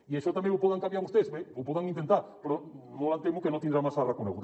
i això també ho poden canviar vostès bé ho poden intentar però molt em temo que no tindrà massa recorregut